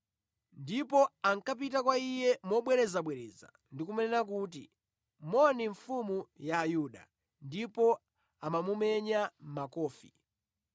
ndipo ankapita kwa Iye mobwerezabwereza ndi kumanena kuti, “Moni mfumu ya Ayuda?” Ndipo amamumenya makofi.